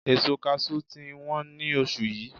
Èso Kaṣú ti ń wọn ní oṣù yìí.